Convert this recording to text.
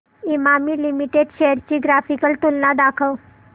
Emami Limited shares ची graphical तुलना दाखव